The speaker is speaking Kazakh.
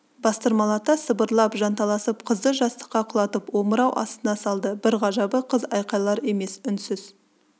бастырмалата сыбырлап жанталасып қызды жастыққа құлатып омырау астына салды бір ғажабы қыз айқайлар емес үнсіз